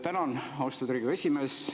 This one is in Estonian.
Tänan, austatud Riigikogu esimees!